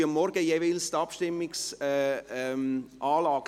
Am Morgen testen sie immer die Abstimmungsanlage.